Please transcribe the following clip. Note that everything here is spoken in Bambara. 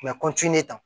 U bɛ